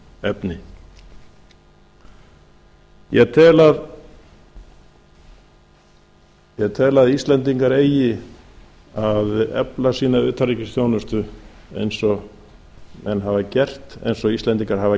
efni ég tel að íslendingar eigi að efla sína utanríkisþjónustu eins og menn hafa gert eins og íslendingar hafa